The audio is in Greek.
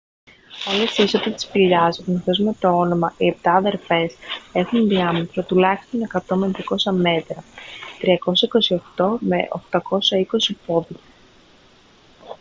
όλες οι είσοδοι της σπηλιάς γνωστές με το όνομα «οι επτά αδερφές» έχουν διάμετρο τουλάχιστον 100 με 200 μέτρα 328 με 820 πόδια